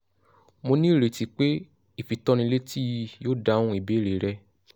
mo ní ìrètí pé ìfitónilétí yìí yóò dáhùn ìbéèrè rẹ